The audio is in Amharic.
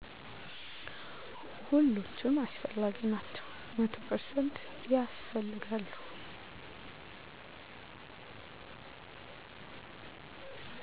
ሁሎቹም አስፈላጊ ናቸው። መቶ ፐርሰንት ያስፈልጋሉ።